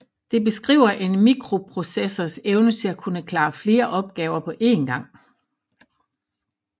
Det beskriver en microprocessors evne til at kunne klare flere opgaver på én gang